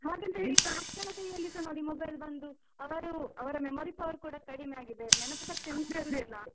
ಹ ಹಾಗಂದ್ರೆ ಮಕ್ಳ ಕೈಯ್ಲಲಿಸ mobile ಬಂದು ಅವರು ಅವ್ರ memory power ಕೂಡ ಕಡಿಮೆ ಆಗಿದೆ. ನೆನಪು ಶಕ್ತಿಸ ಇಲ್ಲ.